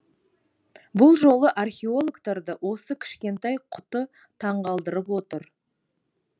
бұл жолы археологтарды осы кішкентай құты таңғалдырып отыр